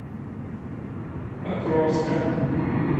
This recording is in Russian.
покровска